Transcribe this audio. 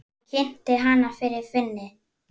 Hún kynnti hana fyrir Finni.